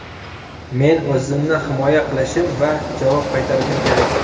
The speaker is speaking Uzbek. Men o‘zimni himoya qilishim va javob qaytarishim kerak.